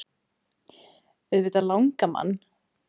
Auðvitað langar mann.